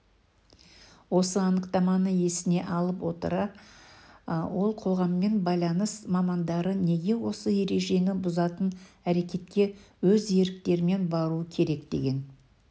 осы анықтаманы есіне ала отырып ол қоғаммен байланыс мамандары неге осы ережені бұзатын әрекетке өз еріктерімен баруы керек деген